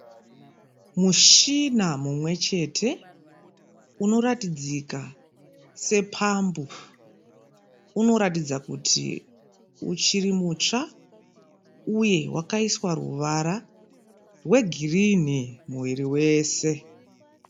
Mushina mumwe chete unoratidzika sepambu. Unoratidza kuti uchiri mutsva uye wakaiswa ruvara rwegirinhi muviri wese.